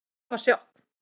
Það var sjokk